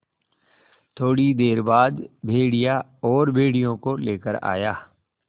थोड़ी देर बाद भेड़िया और भेड़ियों को लेकर आया